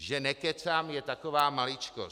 Že nekecám, je taková maličkost.